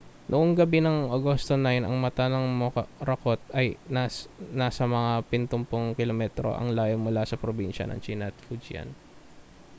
noong gabi ng agosto 9 ang mata ng morakot ay nasa mga pitumpung kilometro ang layo mula sa probinsya ng tsina na fujian